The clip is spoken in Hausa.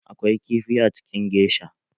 Akwai kifi a cikin gesha.